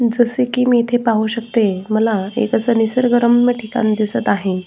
जसे की मी इथे पाहू शकते मला एक अस निसर्गरम्य ठिकाण दिसत आहे.